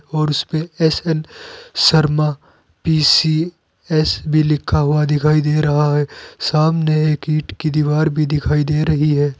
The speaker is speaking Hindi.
और उस पे एस एन शर्मा पी_सी_एस भी लिखा हुआ दिखाई दे रहा है सामने एक ईंट की दीवार भी दिखाई दे रही है।